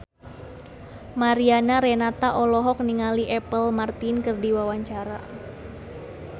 Mariana Renata olohok ningali Apple Martin keur diwawancara